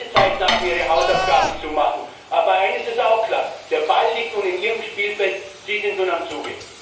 Beide Seiten haben ihre Hausaufgaben zu machen. Aber eines ist klar Der Ball liegt nun in Ihrem Spielfeld, jetzt sind Sie am Zug.